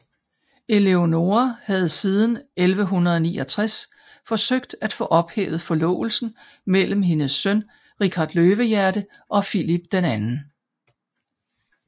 Eleonora havde siden 1169 forsøgt at få ophævet forlovelsen mellem hendes søn Richard Løvehjerte og Filip 2